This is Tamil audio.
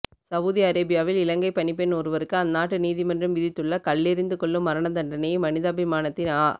சவூதி அரேபியாவில் இலங்கைப் பணிப்பெண் ஒருவருக்கு அந்நாட்டு நீதிமன்றம் விதித்துள்ள கல்லெறிந்து கொல்லும் மரணதண்டனையை மனிதாபிமானத்தின் அ